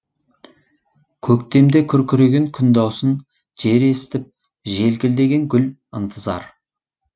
көктемде күркіреген күн даусын жер естіп желкілдеген гүл ынтызар